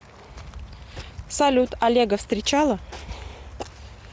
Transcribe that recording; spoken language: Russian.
салют олега встречала